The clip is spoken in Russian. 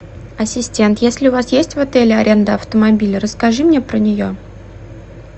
ассистент если у вас есть в отеле аренда автомобиля расскажи мне про нее